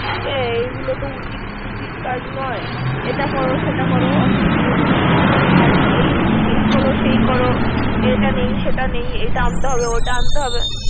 এই গুলো তো উচিত উচিত কাজ নয়। এটা কর সেটা কর। অফিস গিয়েছি, হ্যান কর, এই কর সেই কর। এটা নেই সেটা নেই এটা আনতে হবে, ওটা আনতে হবে।